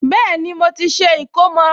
Bẹ́ẹ̀ni, mo ti ṣe ìkómọ